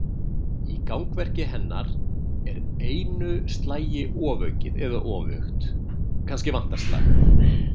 Í gangverki hennar er einu slagi ofaukið eða öfugt: kannski vantar slag.